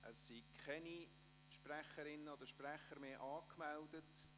Es sind keine Sprecherinnen oder Sprecher mehr angemeldet.